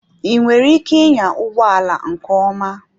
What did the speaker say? Ị nwere ike ịnya ụgbọ ala nke ọma?